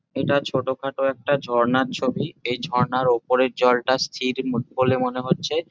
এটা ছোটখাটো একটা ঝর্ণার ছবি। এই ঝর্ণার ওপরের জলটা স্থির ম বলে মনে হচ্ছে।